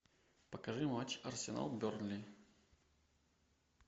покажи матч арсенал бернли